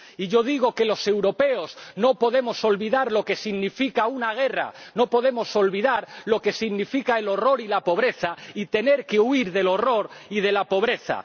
Y yo digo que los europeos no podemos olvidar lo que significa una guerra, no podemos olvidar lo que significan el horror y la pobreza y tener que huir del horror y de la pobreza.